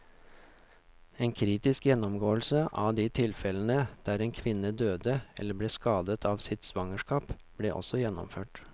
En kritisk gjennomgåelse av de tilfellene der en kvinne døde eller ble skadet av sitt svangerskap, ble også gjennomført.